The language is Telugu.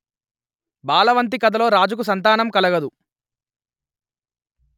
బాలవంతి కథలో రాజుకు సంతానం కలగదు